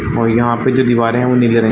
और यहाँ पे जो दीवारे हैं वो नीले रंग --